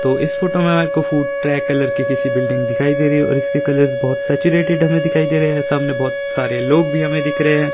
तो इस फोटो में मेरे को फूट ट्रैक कलर की किसी बिल्डिंग दिखाई दे रही है और इसके कलर्स बहुत सैचुरेटेड हमें दिखाई दे रहे हैं सामने बहुत सारे लोग भी हमें दिख रहे हैं।